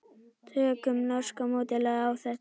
Tökum norska módelið á þetta.